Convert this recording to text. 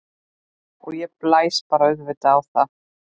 Og ég bara blæs á það.